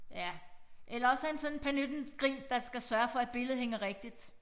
Ja eller også er han sådan pernittengryn der skal sørge for at billedet hænger rigtigt